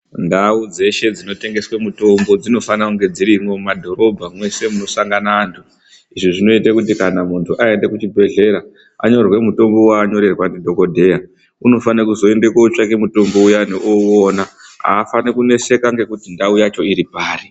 Ndau dzeshe dzinotengeswe mitombo dzinofanira kunge dzirimo mumadhorobha munosangana antu .Izvi zvinoita kuti muntu aenda kuzvibhehleya anyorerwe mutombo waanyorerwa ndidhokodheya unofanira kuzoenda kundotenge mutombo uyane euona .Afaniri kuneseka ngekuti ndau yacho iri pari.